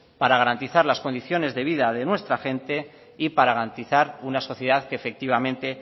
para garantizar las condiciones de vida de nuestra gente y para garantizar una sociedad que efectivamente